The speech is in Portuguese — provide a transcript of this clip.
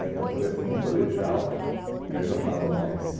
né então, por exemplo, no colegial, que aí já estava mais...